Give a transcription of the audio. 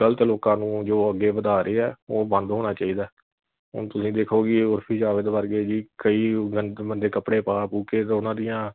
ਗਲਤ ਲੋਕਾਂ ਨੂੰ ਜੋ ਅੱਗੇ ਵਧਾ ਰਹੇ ਆ ਉਹ ਬੰਦ ਹੋਣਾ ਚਾਹੀਦਾ ਹੁਣ ਤੁਸੀ ਦੇਖੋ ਕਿ ਉਰਫੀ ਜਾਵੇਦ ਵਰਗੇ ਜੀ ਕਈ ਗੰਦੇ ਮੰਦੇ ਕਪੜੇ ਪਾ ਪੂ ਕੇ ਉਨ੍ਹਾਂ ਦੀਆਂ